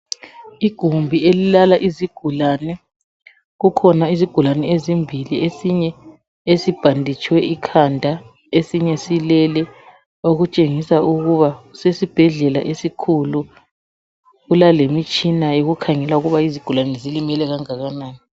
Igumbi elilala izigulane. Kukhona izigulane ezimbili, esinye esibhanditshwe ikhanda, esinye silele, okutshengisa ukuba sesibhedlela esikhulu, kulalemitshina yokukhangela ukuba izigulane zilimele kangakanani